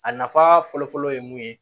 A nafa fɔlɔfɔlɔ ye mun ye